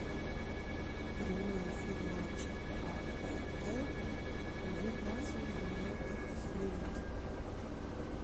прямой эфир матча апл ньюкасл юнайтед с ливером